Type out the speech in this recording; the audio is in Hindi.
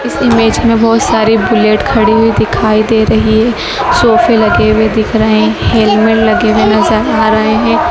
इस ईमेज में बहुत सारे बुलेट खड़ी हुई दिखाई दे रही है सोफे लगे हुए दिख रहे हैं हेलमेट लगे हुए नजर आ रहे हैं।